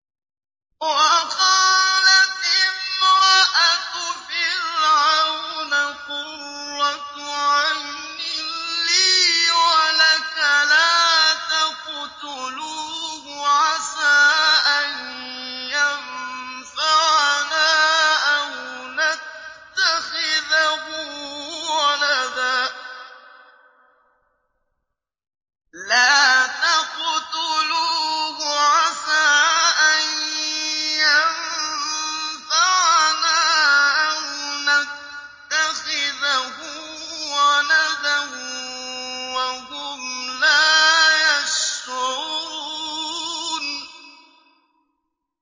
وَقَالَتِ امْرَأَتُ فِرْعَوْنَ قُرَّتُ عَيْنٍ لِّي وَلَكَ ۖ لَا تَقْتُلُوهُ عَسَىٰ أَن يَنفَعَنَا أَوْ نَتَّخِذَهُ وَلَدًا وَهُمْ لَا يَشْعُرُونَ